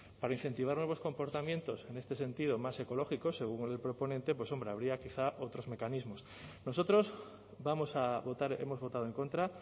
para incentivar nuevos comportamientos en este sentido más ecológicos según el proponente hombre habría quizá otros mecanismos nosotros vamos a votar hemos votado en contra